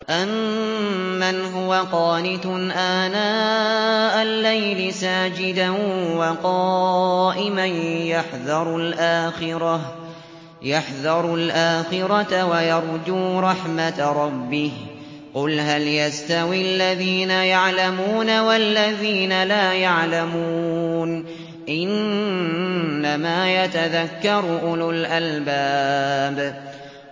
أَمَّنْ هُوَ قَانِتٌ آنَاءَ اللَّيْلِ سَاجِدًا وَقَائِمًا يَحْذَرُ الْآخِرَةَ وَيَرْجُو رَحْمَةَ رَبِّهِ ۗ قُلْ هَلْ يَسْتَوِي الَّذِينَ يَعْلَمُونَ وَالَّذِينَ لَا يَعْلَمُونَ ۗ إِنَّمَا يَتَذَكَّرُ أُولُو الْأَلْبَابِ